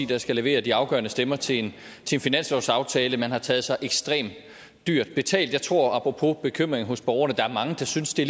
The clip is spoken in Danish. der skal levere de afgørende stemmer til en finanslovsaftale man har taget sig ekstremt dyrt betalt for jeg tror apropos bekymring hos borgerne at der er mange der synes det